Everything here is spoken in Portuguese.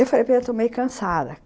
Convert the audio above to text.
Eu falei, eu estou meio cansada!